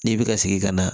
N'i bi ka sigi ka na